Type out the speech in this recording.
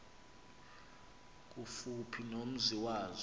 kufuphi nomzi wazo